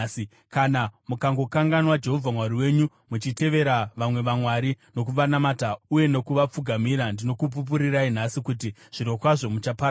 Kana mukangokanganwa Jehovha Mwari wenyu muchitevera vamwe vamwari nokuvanamata uye nokuvapfugamira, ndinokupupurirai nhasi kuti zvirokwazvo muchaparadzwa.